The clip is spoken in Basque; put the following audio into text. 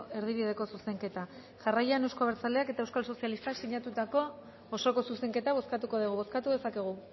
erdibideko zuzenketa jarraian euzko abertzaleak eta euskal sozialistak sinatutako osoko zuzenketa bozkatuko dugu bozkatu dezakegu